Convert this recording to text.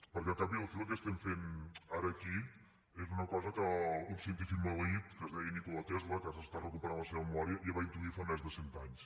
perquè al cap i a la fi el que fem ara aquí és una cosa que un científic maleït que es deia nikola tesla que ara es recupera la seva memòria ja va intuir fa més de cent anys